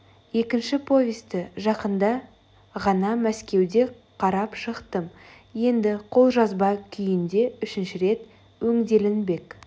екінші повесті жақында ғана мәскеуде қарап шықтым енді қолжазба күйінде үшінші рет өңделінбек